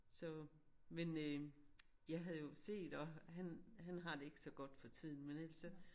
Så men øh jeg havde jo set at han han har det ikke så godt for tiden men ellers så